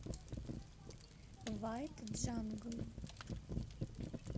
вайт джангл